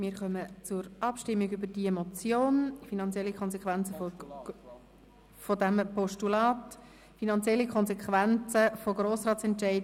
Wir kommen zur Abstimmung über die Motion «Finanzielle Konsequenzen von Grossratsentscheiden: